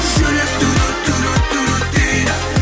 жүрек дейді